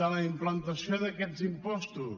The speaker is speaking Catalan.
de la implantació d’aquests impostos